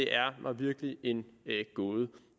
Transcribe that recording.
er mig virkelig en gåde